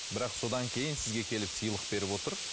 бірақ содан кейін сізге келіп сыйлық беріп отыр